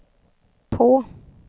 på